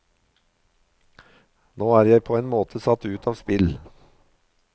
Nå er jeg på en måte satt ut av spill.